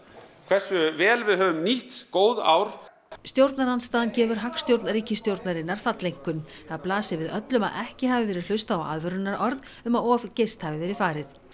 hversu vel við höfum nýtt góð ár stjórnarandstaðan gefur hagstjórn ríkisstjórnarinnar falleinkunn það blasi við öllum að ekki hafi verið hlustað á aðvörunarorð um að of geyst hafi verið farið